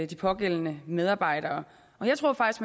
de pågældende medarbejdere jeg tror faktisk